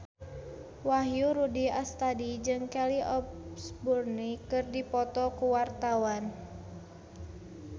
Wahyu Rudi Astadi jeung Kelly Osbourne keur dipoto ku wartawan